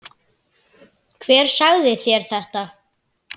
Hver sagði þér þetta?